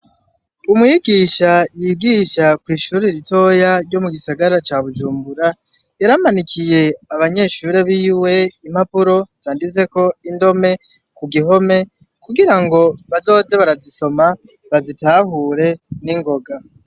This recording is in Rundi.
Umwigisha yigisha kw'ishuri ritoya ryo mugisagara ca bujumbura yaramanikiye abanyeshuri biwe impapuro zanditseko indome kugihome kugira ngo bazoze barazisoma bazitahure ningoga.